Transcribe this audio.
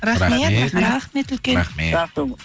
рахмет рахмет үлкен рахмет